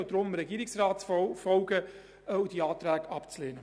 Bitte folgen Sie deshalb dem Regierungsrat und lehnen Sie die Anträge ab.